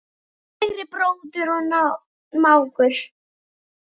Kæri bróðir og mágur.